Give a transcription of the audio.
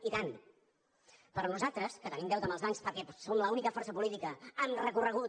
i tant però nosaltres que tenim deute amb els bancs perquè som l’única força política amb recorregut